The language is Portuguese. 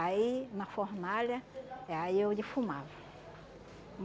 Aí, na fornalha, aí eu defumava.